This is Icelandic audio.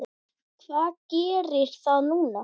Hvað gerir það núna?